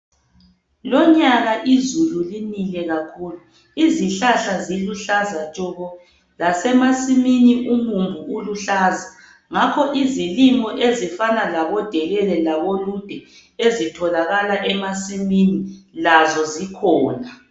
Lonyaka izulu linile kakhulu, izihlahla ziluhlaza tshoko. Lasemasimini umumbu uluhlaza. Ngakho izilimo ezifana labo delele labolude ezitholakala emasimini lazo zikhona.